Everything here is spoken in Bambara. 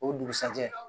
O dugusajɛ